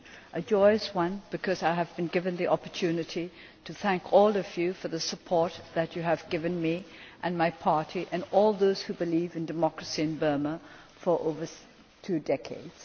a joyous one because I have been given the opportunity to thank all of you for the support that you have given me and my party and all those who believe in democracy in Burma for over two decades.